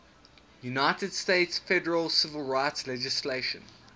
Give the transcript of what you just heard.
united states federal civil rights legislation